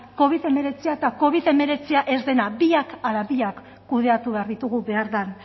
covid hemeretzi eta covid hemeretzi ez dena biak ala biak kudeatu behar ditugu behar den